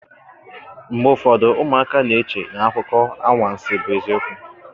Mgbe ụfọdụ ụmụaka na-eche na akụkọ anwansị bụ eziokwu